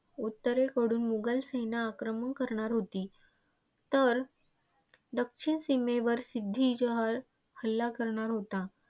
उत्तरेकडून मुघलसेना आक्रमण करणार होती तर दक्षिण सीमेवर सिद्दी जोहर हल्ला करणार होता.